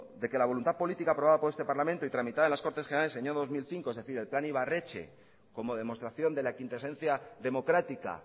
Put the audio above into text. de que la voluntad política aprobada por este parlamento y tramitada en las cortes generales en el año dos mil cinco es decir el plan ibarretxe como demostración de la quintaesencia democrática